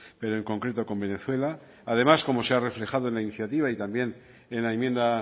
pero en concreto con venezuela además como se ha reflejado en la iniciativa y también en la enmienda